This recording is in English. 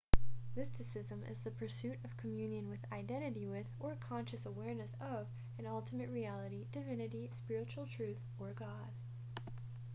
mysticism is the pursuit of communion with identity with or conscious awareness of an ultimate reality divinity spiritual truth or god